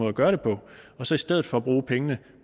at gøre det på og så i stedet for bruge pengene